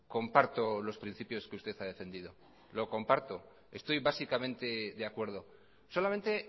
comparto los principios que usted ha defendido lo comparto estoy básicamente de acuerdo solamente